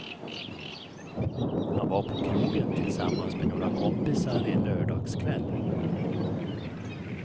Han var på krogen tillsammans med några kompisar en lördagskväll.